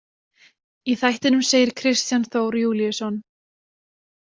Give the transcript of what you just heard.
Í þættinum segir Kristján Þór Júlíusson: